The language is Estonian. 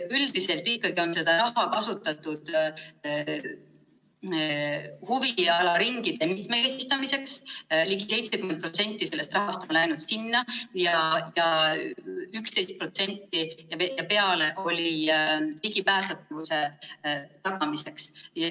Üldiselt ikkagi on seda raha kasutatud huvialaringide mitmekesistamiseks, ligi 70% sellest rahast on läinud sinna, ja üle 11% oli ligipääsetavuse tagamiseks.